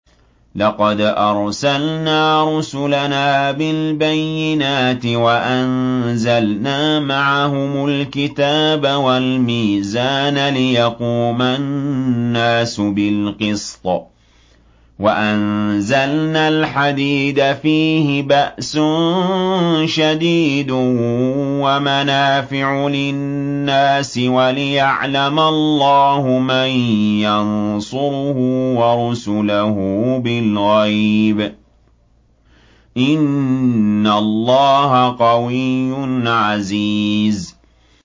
لَقَدْ أَرْسَلْنَا رُسُلَنَا بِالْبَيِّنَاتِ وَأَنزَلْنَا مَعَهُمُ الْكِتَابَ وَالْمِيزَانَ لِيَقُومَ النَّاسُ بِالْقِسْطِ ۖ وَأَنزَلْنَا الْحَدِيدَ فِيهِ بَأْسٌ شَدِيدٌ وَمَنَافِعُ لِلنَّاسِ وَلِيَعْلَمَ اللَّهُ مَن يَنصُرُهُ وَرُسُلَهُ بِالْغَيْبِ ۚ إِنَّ اللَّهَ قَوِيٌّ عَزِيزٌ